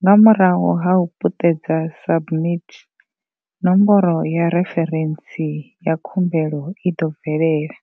Nga murahu ha u puṱedza SUBMIT, nomboro ya referentsi ya khumbelo i ḓo bvelela.